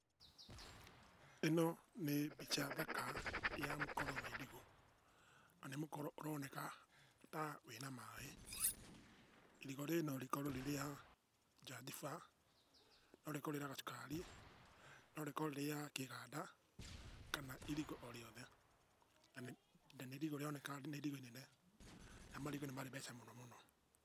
Ĩno nĩ mbica thaka ya mũkoro wa irigũ na nĩ mũkoro ũroneka ta wĩna maaĩ. Irigũ rĩrĩ no rĩkorwo rĩ rĩa Njathibaa, no rĩkorwo rĩ rĩa cukari, no rĩkorwo rĩ rĩa Kĩĩganda kana irigũ o rĩothe na irigũ rĩroneka nĩ irigũ inene na marigũ nĩ marĩ mbeca mũno mũno.